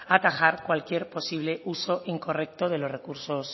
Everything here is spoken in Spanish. atajar cualquier posible uso incorrecto de los recursos